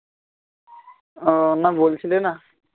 উহ না বলছিলে না